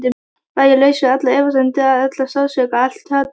Var ég laus við allar efasemdir, allan sársauka, allt hatur?